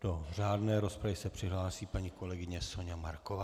Do řádné rozpravy se přihlásí paní kolegyně Soňa Marková.